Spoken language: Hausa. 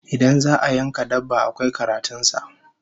Idan za'a yanka dabba, akwai karatun sa